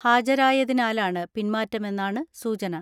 ഹാജരായതിനാലാണ് പിന്മാറ്റമെന്നാണ് സൂചന.